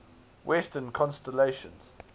western constellations